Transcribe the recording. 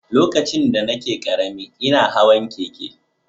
Lokacin da nake ƙarami, ina hawan keke.